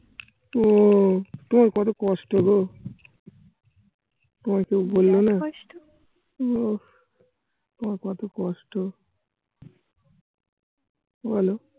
উহ তোমার কত কষ্ট গো তোমায় কেউ বললো না। উহ তোমার কত কষ্ট বলো